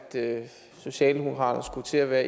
socialdemokratiet skulle til at være